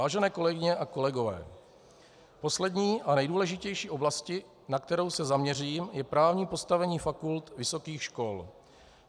Vážené kolegyně a kolegové, poslední a nejdůležitější oblastí, na kterou se zaměřím, je právní postavení fakult vysokých škol.